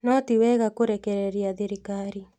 No tiwega kũrekereria thirikarĩ